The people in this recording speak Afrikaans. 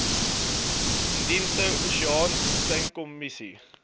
indiese oseaan tunakommissie